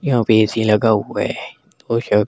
यहां पे ए_सी लगा हुआ है --